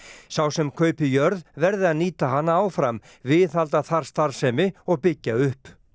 sá sem kaupi jörð verði að nýta hana áfram viðhalda þar starfsemi og byggja upp